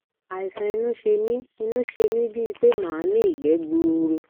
àìsàn inú ṣe mí inú ṣe mí bíi pé màá ní ìgbẹ gbuuru